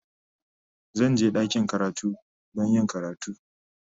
Zan je ɗakin karatu don yin karatu.